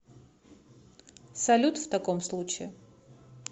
салют в таком случае